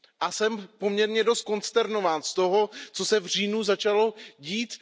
Jsem poměrně dost konsternován z toho, co se v říjnu začalo dít.